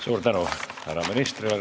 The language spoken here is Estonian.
Suur tänu härra ministrile!